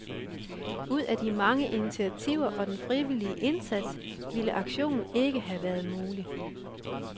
Uden de mange initiativer og den frivillige indsats ville aktionen ikke havde været mulig.